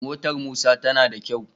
Motar musa tana da kyau